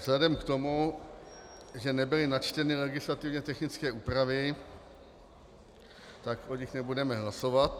Vzhledem k tomu, že nebyly načteny legislativně technické úpravy, tak o nich nebudeme hlasovat.